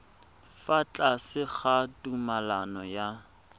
fa tlase ga tumalano ya